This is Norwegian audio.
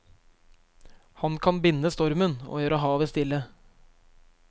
Han kan binde stormen og gjøre havet stille.